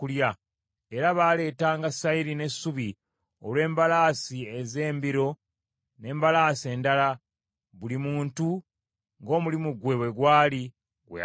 Era baaleetanga sayiri n’essubi olw’embalaasi ez’embiro n’embalaasi endala, buli muntu ng’omulimu gwe bwe gwali gwe yalagirwa.